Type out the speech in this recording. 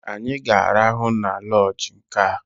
Anyị ga-arahụ na lọọjị nkea!